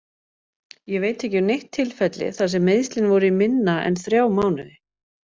Ég veit ekki um neitt tilfelli þar sem meiðslin voru í minna en þrjá mánuði.